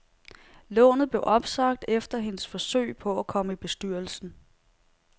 Lånet blev opsagt efter hendes forsøg på at komme i bestyrelsen.